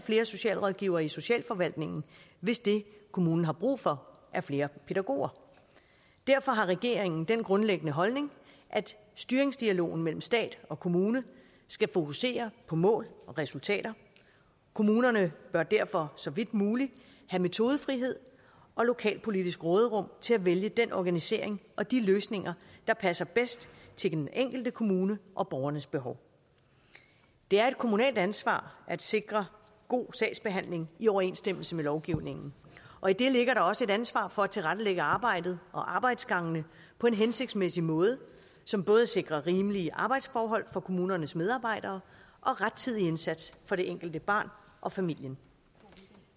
flere socialrådgivere i socialforvaltningen hvis det kommunen har brug for er flere pædagoger derfor har regeringen den grundlæggende holdning at styringsdialogen mellem stat og kommune skal fokusere på mål og resultater kommunerne bør derfor så vidt muligt have metodefrihed og lokalpolitisk råderum til at vælge den organisering og de løsninger der passer bedst til den enkelte kommune og borgernes behov det er et kommunalt ansvar at sikre god sagsbehandling i overensstemmelse med lovgivningen og i det ligger også et ansvar for at tilrettelægge arbejdet og arbejdsgangene på en hensigtsmæssig måde som både sikrer rimelige arbejdsforhold for kommunernes medarbejdere og rettidig indsats for det enkelte barn og familien